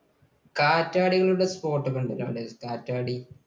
കാറ്റാടികളുടെ spot ഒക്കെ ഉണ്ടല്ലോ അവിടെ? കാറ്റാടി